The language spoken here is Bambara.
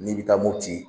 N'i bɛ taa mopti